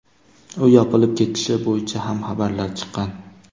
U yopilib ketishi bo‘yicha ham xabarlar chiqqan.